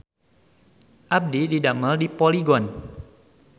Abdi didamel di Polygon